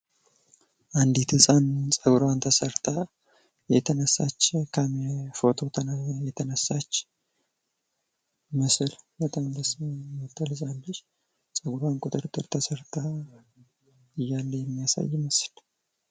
አንዲት ህጻን ጸጉርዋን ተሰርታ ፎቶ የተነሳች ምስል። በጣም ደስ ምትል ህጻን ልጅ ጸጉርዋም ቁጥርጥር ተሰርታ እያለች የሚያሳይ ምስል።